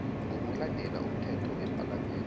ngokulandela umthetho wepalamende